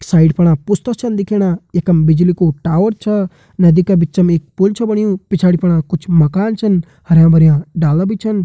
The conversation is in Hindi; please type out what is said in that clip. साइड फणा पुस्ता छन दिखेणा यखम बिजली कु टावर छा नदी का बिचम एक पुल छ बण्यू पिछाड़ी फणा कुछ माकन छन हरयां भरयां डाला भी छन।